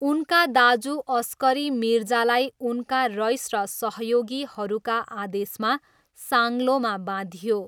उनका दाजु अस्करी मिर्जालाई उनका रइस र सहयोगीहरूका आदेशमा साङ्लोमा बाँधियो।